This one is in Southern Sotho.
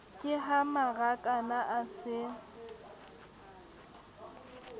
ke ha marakana a se